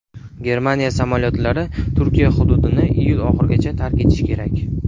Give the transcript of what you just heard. Germaniya samolyotlari Turkiya hududini iyul oxirigacha tark etishi kerak.